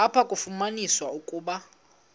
apho kwafunyaniswa ukuba